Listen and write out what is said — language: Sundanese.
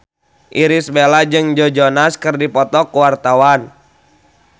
Irish Bella jeung Joe Jonas keur dipoto ku wartawan